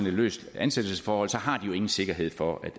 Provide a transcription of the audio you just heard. et løst ansættelsesforhold har de jo ingen sikkerhed for